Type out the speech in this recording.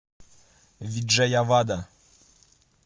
виджаявада